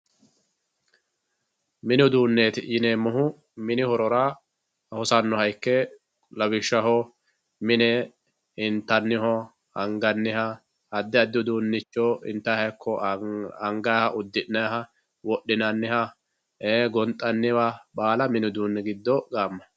Mini uduenti yiunemohu mini horora hosaanoha ikke lawishshaho mine intaniho angianho adi adi udunicho intayiha angaiyha udinaiyha wodhinaniha ee gonxaniha baala mini uduuni giddo gaamayi.